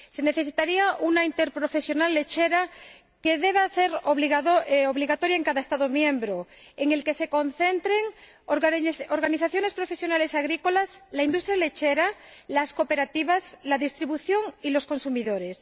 Se necesitaría una interprofesional lechera que sea obligatoria en cada Estado miembro, en la que se concentren organizaciones profesionales agrícolas, la industria lechera, las cooperativas, la distribución y los consumidores.